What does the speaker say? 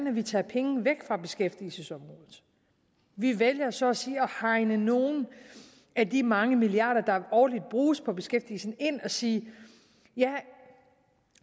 at vi tager penge væk fra beskæftigelsesområdet vi vælger så at sige at hegne nogle af de mange milliarder der årligt bruges på beskæftigelsen ind og sige ja